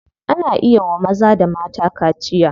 Ana iya wa maza da mata kaciya.